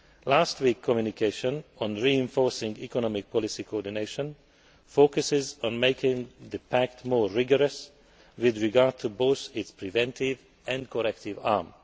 Last week's communication on reinforcing economic policy coordination focuses on making the pact more rigorous with regard to both its preventive and corrective arm.